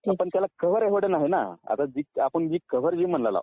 पण त्याला कव्हर एवढं नाही ना, आता आपण जे कव्हर म्हणत आहोत